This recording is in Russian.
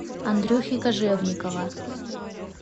андрюхи кожевникова